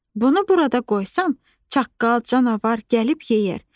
Bunu burada qoysan, çaqqal, canavar gəlib yeyər.